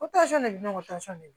O tasɔn de bɛ n'o tasɔn don